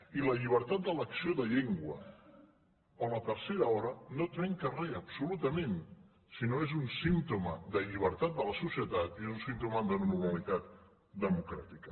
i la llibertat d’elecció de llengua o la tercera hora no trenquen re absolutament sinó que és un símptoma de llibertat de la societat i és un símptoma de normalitat democràtica